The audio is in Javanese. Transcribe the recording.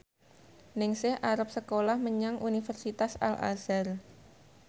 Ningsih arep sekolah menyang Universitas Al Azhar